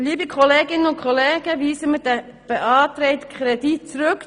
Liebe Kolleginnen und Kollegen, weisen wir den beantragten Kredit zurück.